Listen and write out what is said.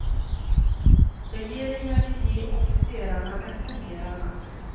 Regeringen vill ge officerarna ännu mer makt.